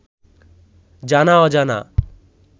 জানা-অজানা